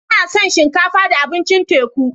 Ina son shinkafa da abincin teku.